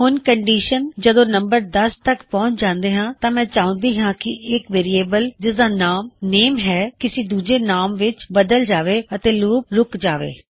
ਹੁਣ ਕੰਨਡਿਸ਼ਨ ਜਦੋ ਨੰਬਰ 10 ਤੱਕ ਪਹੁੰਚ ਜਾਏ ਤਾਂ ਮੈ ਚਾਹੁੰਦਾ ਹਾਂ ਕੀ ਇਕ ਵੇਅਰਿਏਬਲ ਜਿਸ ਦਾ ਨਾਉ ਨੇਮ ਹੈ ਕਿਸੀ ਦੂਜੇ ਨਾਮ ਵਿੱਚ ਬਦਲ ਜਾਵੇ ਅਤੇ ਲੂਪ ਰੁੱਕ ਜਾਵੇ